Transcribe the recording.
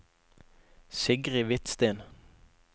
Sigrid Hvidsten